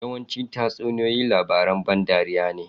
Yawancin tatsuniyoyi labaran ban dariya ne.